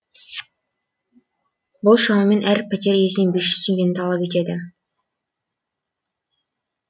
бұл шамамен әр пәтер иесінен бес жүз теңгені талап етеді